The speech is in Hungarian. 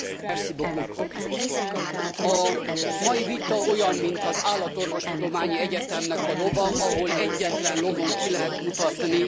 A mai vita olyan, mint az Állatorvostudományi Egyetemnek a lova, ahol egyetlen lovon ki lehet mutatni az összes állatbetegséget.